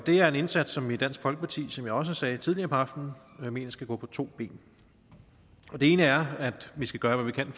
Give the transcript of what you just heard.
er en indsats som vi i dansk folkeparti som jeg også sagde tidligere på aftenen mener skal gå på to ben det ene er at vi skal gøre hvad vi kan